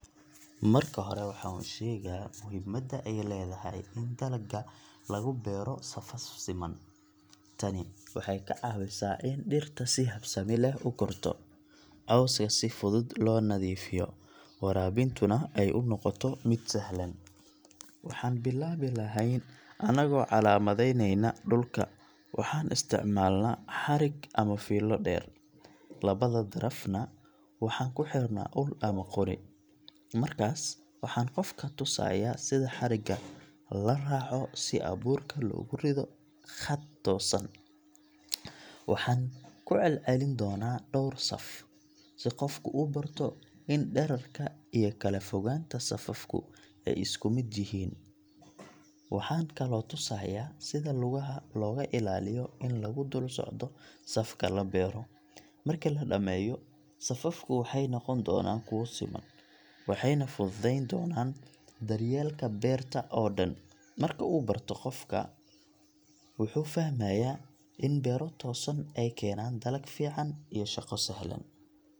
Marka hore waxaan u sheegaa muhiimadda ay leedahay in dalagga lagu beero safaf siman. Tani waxay ka caawisaa in dhirta si habsami leh u korto, cawska si fudud loo nadiifiyo, waraabintuna ay u noqoto mid sahlan. Waxaan bilaabi lahayn annagoo calaamadeynayna dhulka — waxaan isticmaalnaa xarig ama fiilo dheer, labada darafna waxaan ku xiraa ul ama qori. Markaas waxaan qofka tusayaa sida xarigga la raaco si abuurka loogu riddo khad toosan. Waxaan ku celcelin doonaa dhowr saf, si qofku u barto in dhererka iyo kala fogaanta safafku ay isku mid yihiin. Waxaan kaloo tusayaa sida lugaha looga ilaaliyo in lagu dul socdo safka la beero. Marki la dhameeyo, safafku waxay noqon doonaan kuwo siman, waxayna fududayn doonaan daryeelka beerta oo dhan. Marka uu barto, qofku wuxuu fahmayaa in beero toosan ay keenaan dalag fiican iyo shaqo sahlan.